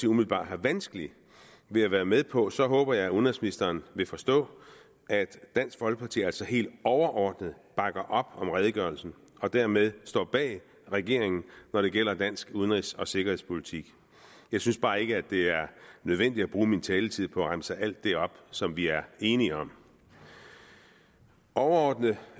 umiddelbart har vanskeligt ved at være med på så håber jeg at udenrigsministeren vil forstå at dansk folkeparti altså helt overordnet bakker op om redegørelsen og dermed står bag regeringen når det gælder dansk udenrigs og sikkerhedspolitik jeg synes bare ikke at det er nødvendigt at bruge min taletid på at remse alt det op som vi er enige om overordnet